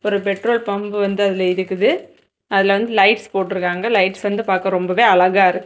ஒரு petrol pump வந்து அதுல இருக்குது அதுல வந்து லைட்ஸ் போட்ருக்காங்க லைட்ஸ் வந்து பாக்க ரொம்பவே அழகா இருக்கு.